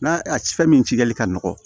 N'a a fɛn min cikɛli ka nɔgɔ